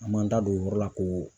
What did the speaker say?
An m'an da don o yɔrɔ la ko